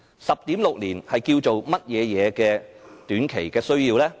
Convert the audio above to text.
10.6 年是甚麼短期需要呢？